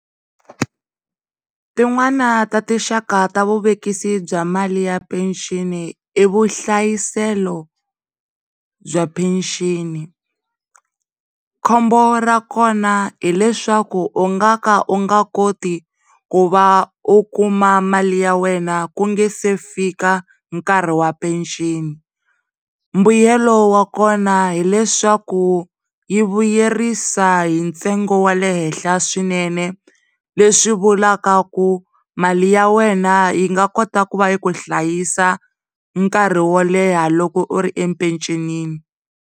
Tin'nwana ta tinxaka ta vuvekisi bya mali ya mpenceni i vuhlayiselo bya mpeceni. Khombo ra kona hileswaku u nga ka u nga koti ku va u kuma mali ya wena ku nga se fika nkarhi wa mpeceni mbuyelo wa kona hileswaku yi vuyerisa hi ntsengo wa le henhla swinene le swi vulavula ku mali ya wena yi nga kota ku va yi ku hlayisa nkarhi wo leha loko u ri empecenini.